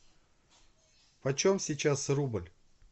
почем сейчас рубль